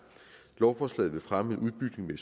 lovforslaget vil fremme en udbygning